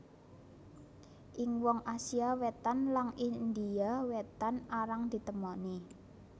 Ing wong Asia Wétan lan India Wétan arang ditemoni